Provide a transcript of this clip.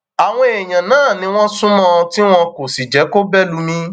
àwọn èèyàn náà ni wọn sún mọ ọn tí wọn kò sì jẹ kó bẹ lùmí